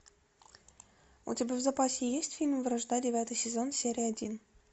у тебя в запасе есть фильм вражда девятый сезон серия один